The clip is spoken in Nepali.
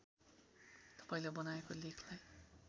तपाईँले बनाएको लेखलाई